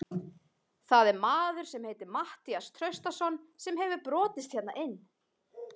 Það er maður sem heitir Matthías Traustason sem hefur brotist hérna inn.